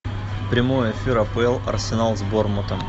прямой эфир апл арсенал с борнмутом